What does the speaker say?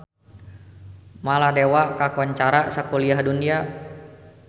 Maladewa kakoncara sakuliah dunya